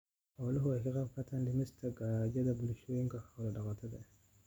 Xooluhu waxay ka qaybqaataan dhimista gaajada bulshooyinka xoolo-dhaqatada ah.